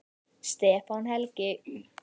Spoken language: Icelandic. Stefán Helgi.